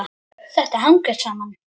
Þetta hangir saman.